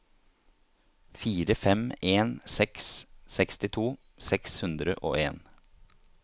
fire fem en seks sekstito seks hundre og en